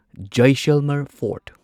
Jaisalmer fort